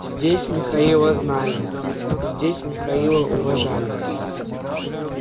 здесь михаила знали здесь михаила уважали